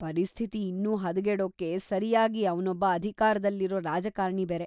ಪರಿಸ್ಥಿತಿ ಇನ್ನೂ ಹದಗೆಡೋಕ್ಕೆ ಸರ್ಯಾಗಿ ಅವ್ನೊಬ್ಬ ಅಧಿಕಾರದಲ್ಲಿರೋ ರಾಜಕಾರ್ಣಿ ಬೇರೆ.